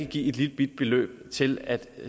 give et lillebitte beløb til at